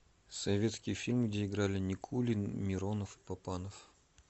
советский фильм где играли никулин миронов и папанов